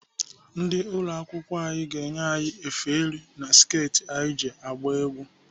Ndị ụlọ akwụkwọ anyị ga-enye anyị efe elu na sket anyị ji agba egwu.